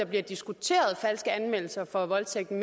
bliver diskuteret falske anmeldelser for voldtægt er